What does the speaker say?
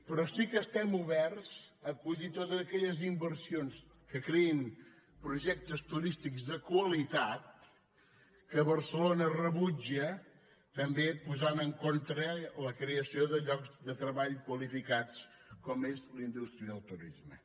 però sí que estem oberts a acollir totes aquelles inversions que creïn projectes turístics de qualitat que barcelona rebutja també posant en contra la creació de llocs de treball qualificats com és la indústria del turisme